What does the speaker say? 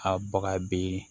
A baga bi